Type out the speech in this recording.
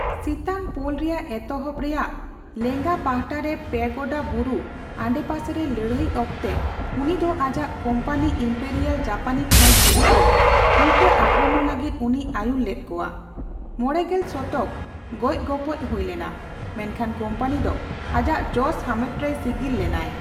ᱥᱤᱛᱟᱝ ᱯᱳᱞ ᱨᱮᱭᱟᱜ ᱮᱛᱚᱦᱚᱵ ᱨᱮᱭᱟᱜ ᱞᱮᱸᱜᱟ ᱯᱟᱦᱴᱟᱨᱮ ᱯᱮᱜᱳᱰᱟ ᱵᱩᱨᱩ ᱟᱰᱮᱯᱟᱥᱮ ᱨᱮ ᱞᱟᱹᱲᱦᱟᱹᱭ ᱚᱠᱛᱮ ᱩᱱᱤ ᱫᱚ ᱟᱡᱟᱜ ᱠᱳᱢᱯᱟᱱᱤ ᱤᱢᱯᱮᱨᱤᱭᱟᱞ ᱡᱟᱯᱟᱱᱤ ᱯᱷᱟᱹᱫᱽ ᱵᱤᱨᱩᱫᱷᱽ ᱨᱮ ᱩᱞᱴᱟᱹ ᱟᱠᱨᱚᱢᱚᱱ ᱞᱟᱹᱜᱤᱫ ᱩᱱᱤᱭ ᱟᱹᱭᱩᱨ ᱞᱮᱫ ᱠᱚᱣᱟ, ᱢᱚᱲᱮᱜᱮᱞ ᱥᱚᱛᱚᱠ ᱜᱚᱡᱼᱜᱚᱯᱚᱡ ᱦᱩᱭ ᱞᱮᱱᱟ, ᱢᱮᱱᱠᱷᱟᱱ ᱠᱳᱢᱯᱟᱱᱤ ᱫᱚ ᱟᱡᱟᱜ ᱡᱚᱥ ᱦᱟᱢᱮᱴ ᱨᱮᱭ ᱥᱤᱜᱤᱞ ᱞᱮᱱᱟᱭ ᱾